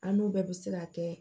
An n'u bɛɛ bɛ se ka kɛ